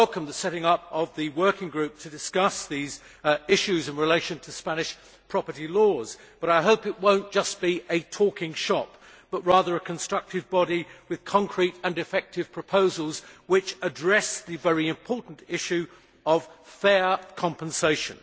I welcome the setting up of the working group to discuss these issues in relation to Spanish property law, and I hope it will be not just a talking shop but rather a constructive body making specific and effective proposals to address the very important issue of fair compensation.